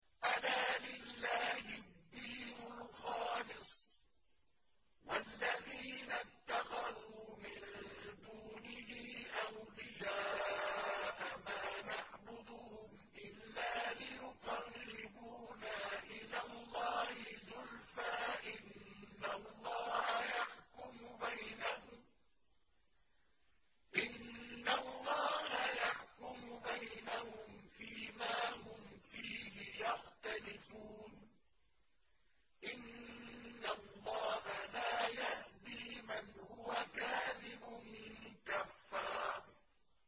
أَلَا لِلَّهِ الدِّينُ الْخَالِصُ ۚ وَالَّذِينَ اتَّخَذُوا مِن دُونِهِ أَوْلِيَاءَ مَا نَعْبُدُهُمْ إِلَّا لِيُقَرِّبُونَا إِلَى اللَّهِ زُلْفَىٰ إِنَّ اللَّهَ يَحْكُمُ بَيْنَهُمْ فِي مَا هُمْ فِيهِ يَخْتَلِفُونَ ۗ إِنَّ اللَّهَ لَا يَهْدِي مَنْ هُوَ كَاذِبٌ كَفَّارٌ